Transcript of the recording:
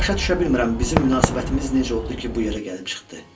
Başa düşə bilmirəm bizim münasibətimiz necə oldu ki, bu yerə gəlib çıxdı.